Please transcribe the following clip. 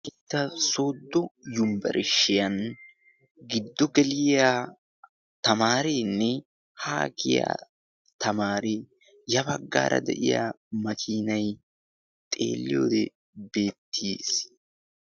Wolaytta sooddo yumbbarishshiyan giddo geliiya tamaarinne haa kiiya tamaariya baggaara de'iya makiinay xeelliyoodi beettiis